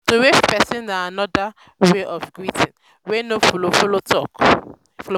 to wave person na anoda um wey of um greeting wey no um follow follow talking